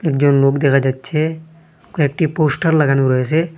একজন লোক দেখা যাইচ্ছে কয়েকটি পোস্টার লাগানো রয়েছে।